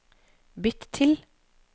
bytt til